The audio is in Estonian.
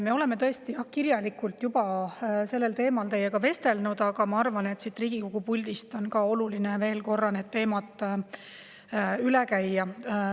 Me oleme tõesti kirjalikult teiega sel teemal juba vestelnud, aga ma arvan, et on oluline ka siit Riigikogu puldist need teemad veel kord üle käia.